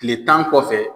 Tile tan kɔfɛ